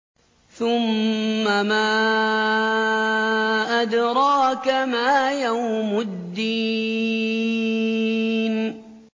ثُمَّ مَا أَدْرَاكَ مَا يَوْمُ الدِّينِ